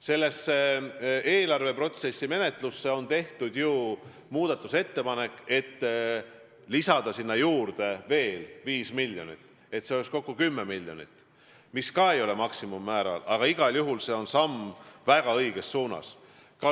Selles eelarveprotsessi menetluses ongi tehtud muudatusettepanek lisada sinna veel 5 miljonit, et oleks kokku 10 miljonit, mis ka ei ole maksimummäär, aga on igal juhul samm väga õiges suunas.